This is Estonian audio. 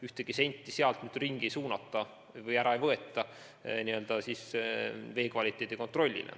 Ühtegi senti sealt mujale ei suunata, vee kvaliteedi kontrollimiseks ära ei võeta.